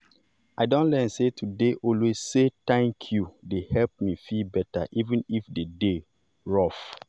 i don learn sey to dey always say 'thank you' dey help me feel better even if the day rough.